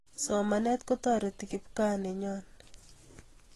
Somanet kotareti kikpkaa nenyoo